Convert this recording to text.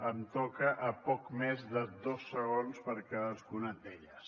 em toca a poc més de dos segons per cadascuna d’elles